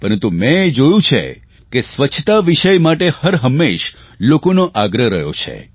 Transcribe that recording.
પરંતુ મેં એ જોયું છે કે સ્વચ્છતા વિષય માટે હર હંમેશ લોકોનો આગ્રહ રહ્યો છે